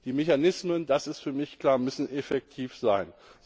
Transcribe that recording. Die Mechanismen, das ist für mich klar, müssen effektiv sein.